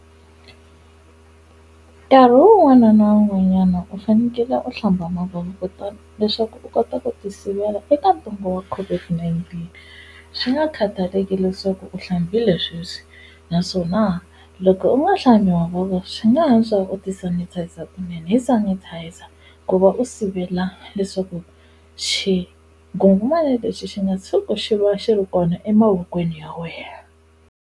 Nkarhi wun'wana na wun'wanyana u fanekele u hlambha mavoko kutani leswaku u kota ku ti sivela eka ntungo wa COVID-19 swi nga khataleki leswaku u hlambile sweswi naswona loko u nga hlambi mavoko swi nga antswa u ti sanitizer kunene hi sanitizer ku va u sivela leswaku xinghunghumana lexi xi nga tshuki xi va xi ri kona emavokweni ya wena.